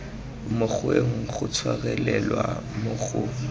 mokgweng go tshwarelelwa mo go